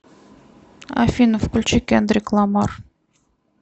афина включи кендрик ламар